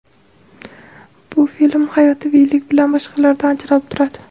Bu film hayotiyligi bilan boshqalardan ajralib turadi.